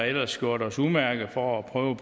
ellers gjort os umage for at prøve